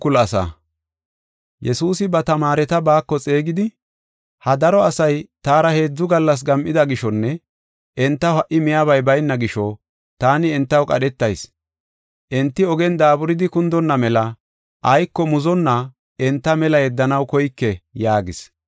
Yesuusi ba tamaareta baako xeegidi, “Ha daro asay taara heedzu gallas gam7ida gishonne entaw ha77i miyabay bayna gisho taani entaw qadhetayis. Enti ogen daaburidi kundonna mela ayko muzonna enta mela yeddanaw koyke” yaagis.